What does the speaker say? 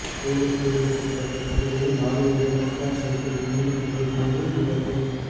police பிரிவுக்குட்பட்ட பகுதியில் லொறியுடன் மோட்டார் சைக்கிள் நேருக்கு நேர் மோதி விபத்து